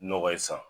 Nɔgɔ ye san